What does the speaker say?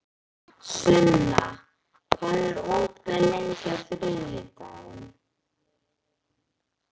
Sunna, hvað er opið lengi á þriðjudaginn?